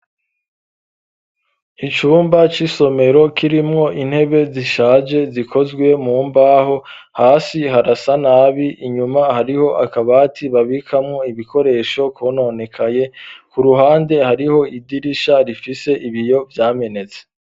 Icumba c'isomero kirimwo intebe zishaje zikozwe mu mbaho hasi harasa nabi inyuma hariho akabati babikamwo ibikoresho kononekaye ku ruhande hariho idirisha rifise ibiyo vyamenetse.